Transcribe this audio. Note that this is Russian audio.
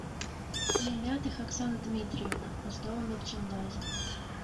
немятых оксана дмитриевна основы мерчендайзинга